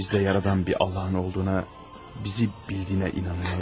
bizdə yaradan bir Allahın olduğuna, bizi bildiyinə inanıram.